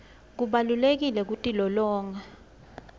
kubalulekile kutilolonga